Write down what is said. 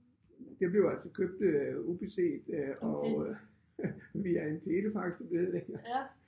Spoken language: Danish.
Det blev altså købt øh ubeset øh og øh via en telefaxledning